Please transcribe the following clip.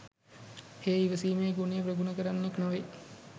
හේ ඉවසීමේ ගුණය ප්‍රගුණ කරන්නෙක් නොවේ.